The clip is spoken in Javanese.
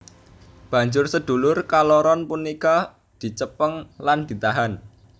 Banjur sedulur kaloron punika dicepeng lan ditahan